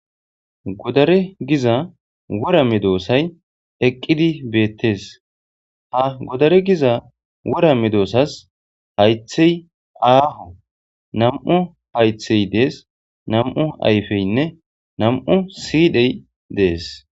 Godare giiza wora medossay eqqidi bettes ha goddare giiza worra meddosasi hayththey aaho nam'u hayththey dessi nam'u ayffeynne nam'u siidhey dessi.